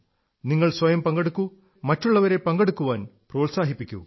നിങ്ങൾ സ്വയം പങ്കെടുക്കൂ മറ്റുള്ളവരെ പങ്കെടുക്കാൻ പ്രോത്സാഹിപ്പിക്കൂ